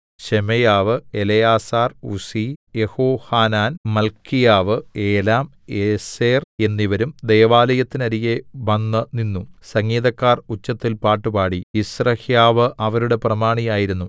ശെമയ്യാവ് എലെയാസാർ ഉസ്സി യെഹോഹാനാൻ മല്ക്കീയാവ് ഏലാം ഏസെർ എന്നിവരും ദൈവാലയത്തിനരികെ വന്നുനിന്നു സംഗീതക്കാർ ഉച്ചത്തിൽ പാട്ടുപാടി യിസ്രഹ്യാവ് അവരുടെ പ്രമാണിയായിരുന്നു